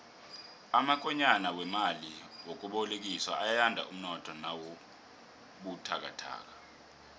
amakonyana wemali yokubolekiswa ayanda umnotho nawubuthakathaka